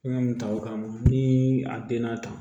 N ka nin ta o kama ni a den na tan